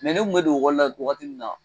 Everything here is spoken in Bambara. ne tun bɛ don ekɔli la wagati min na